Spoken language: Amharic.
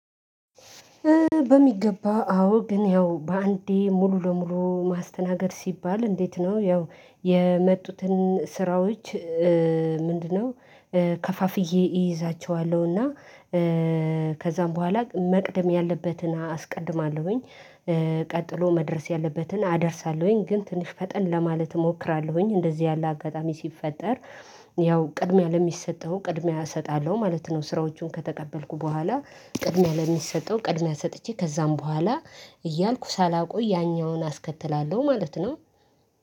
በሚገባ አዎ ግን ያው በአንዴ ሙሉ ለሙሉ ማስተናገድ ሲባል እንዴት ነው ያው የመጡትን ስራዎች፤ ምንድነው ከፋፍዬ እይዛቸዋለሁና ከዛም በኋላ መቅደም ያለበትን አስቀድማለሁኝ። ቀጥሎ መድረስ ያለበትን አደርሳለሁኝ ግን ትንሽ ፈጠን ለማለት እሞክራለሁኝ። እንደዚህ ያለ አጋጣሚ ሲፈጠር፤ ያው ቅድሚያ ለሚሰጠው ቅድሚያ እሰጣለሁ ማለት ነው። ስራዎቹን ከተቀበልኩ በኋላ ቅድሚያ ለሚሰጠው ቅድሚያ ሰጥቼ ከዛም በኋላ እያልኩ ሳላውቀው ያኛውን አስከትላለሁ ማለት ነው።